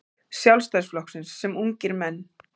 Sjálfstæðisflokksins sem ungir menn.